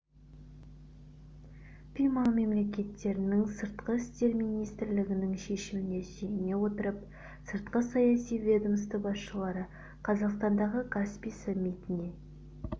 каспий маңы мемлекеттерінің сыртқы істер министрлерінің шешіміне сүйене отырып сыртқы саяси ведомство басшылары қазақстандағы каспий саммитіне